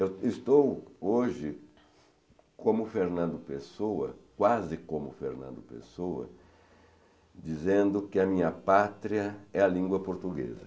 Eu estou hoje como o Fernando Pessoa, quase como o Fernando Pessoa, dizendo que a minha pátria é a língua portuguesa.